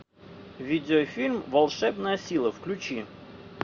видеофильм волшебная сила включи